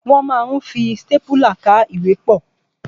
Wọ́n ma ń fi stápùlà ká ìwé pọ̀.